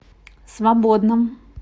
свободном